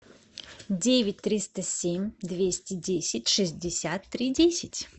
девять триста семь двести десять шестьдесят три десять